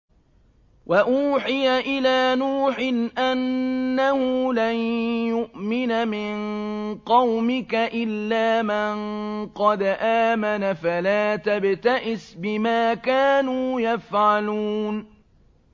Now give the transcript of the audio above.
وَأُوحِيَ إِلَىٰ نُوحٍ أَنَّهُ لَن يُؤْمِنَ مِن قَوْمِكَ إِلَّا مَن قَدْ آمَنَ فَلَا تَبْتَئِسْ بِمَا كَانُوا يَفْعَلُونَ